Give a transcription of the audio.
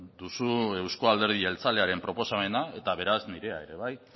duzu euzko alderdi jeltzalearen proposamena eta beraz nirea ere bai